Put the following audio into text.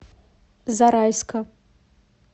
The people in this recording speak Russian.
зарайска